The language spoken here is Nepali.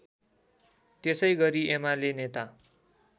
त्यसैगरी एमाले नेता